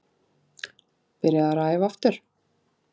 Byrjaður að æfa aftur.